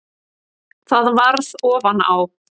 Það varð ofan á.